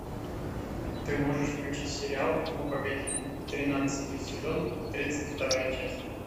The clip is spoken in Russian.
ты можешь включить сериал ну погоди тринадцатый сезон тридцать вторая часть